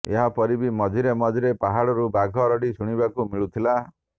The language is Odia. ଏହାପରି ବି ମଝିରେ ମଝିରେ ପାହାଡରୁ ବାଘ ରଡି ଶୁଣିବାକୁ ମିଳୁଥିଲା